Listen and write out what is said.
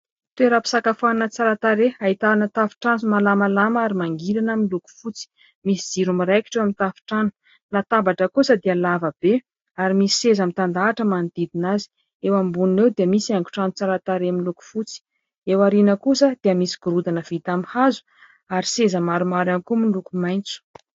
Toeram-pisakafoana tsara tarehy ahitana tafontrano malamalama ary mangirana miloko fotsy. Misy jiro miraikitra eo amin'ny tafontrano, ny latabatra kosa dia lava be ary misy seza mitandahatra manodidina azy. Eo amboniny eo dia misy haingo trano tsara tarehy amin'ny loko fotsy. Eo aoriana kosa dia misy gorodona vita amin'ny hazo ary seza maromaro ihany koa miloko maitso.